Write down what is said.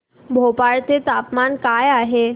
भोपाळ चे तापमान काय आहे